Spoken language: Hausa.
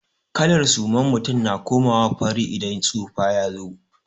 Kalar suman mutum na komawa fari idan tsufa ya zo.